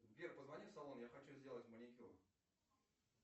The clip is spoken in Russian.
сбер позвони в салон я хочу сделать маникюр